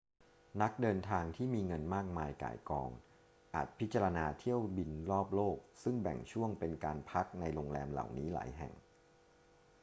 นักเดินทางที่มีเงินมากมายก่ายกองอาจพิจารณาเที่ยวบินรอบโลกซึ่งแบ่งช่วงเป็นการพักในโรงแรมเหล่านี้หลายแห่ง